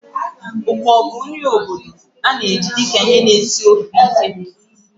Okpor bụ nri obodo a na-eji dị ka ihe na-esi nri na ofe na stew.